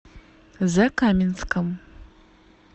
закаменском